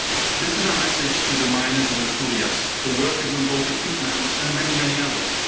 This is our message to the miners in Asturias, the workers on Baltic peatlands and many, many others.